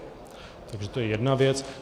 Takže to je jedna věc.